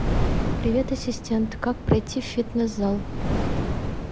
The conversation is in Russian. привет ассистент как пройти в фитнес зал